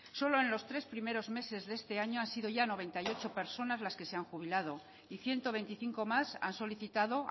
solo en los tres primeros meses de este año han sido ya noventa y ocho personas las que se han jubilado y ciento veinticinco más han solicitado